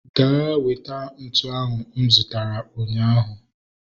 Ga weta ntụ ahu m zutara ụnyaahụ